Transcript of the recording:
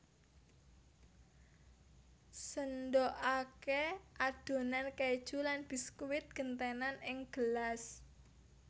Sendhokake adonan keju lan biskuit gentenan ing gelas